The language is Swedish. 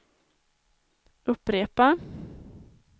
upprepa